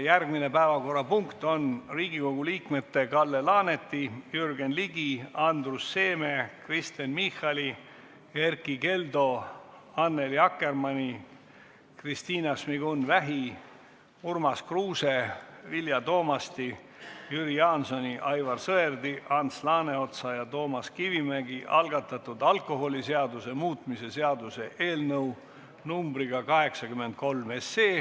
Järgmine päevakorrapunkt on Riigikogu liikmete Kalle Laaneti, Jürgen Ligi, Andrus Seeme, Kristen Michali, Erkki Keldo, Annely Akkermanni, Kristina Šmigun-Vähi, Urmas Kruuse, Vilja Toomasti, Jüri Jaansoni, Aivar Sõerdi, Ants Laaneotsa ja Toomas Kivimägi algatatud alkoholiseaduse muutmise seaduse eelnõu 83.